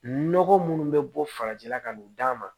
Nɔgɔ munnu bɛ bɔ farajɛla ka n'o d'a ma